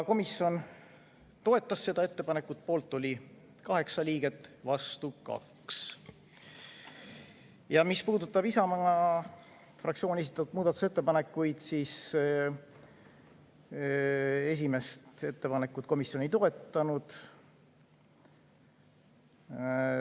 Komisjon toetas seda ettepanekut, poolt oli 8 liiget, vastu 2. Mis puudutab Isamaa fraktsiooni esitatud muudatusettepanekuid, siis esimest ettepanekut komisjon ei toetanud.